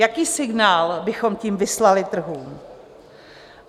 Jaký signál bychom tím vyslali trhům?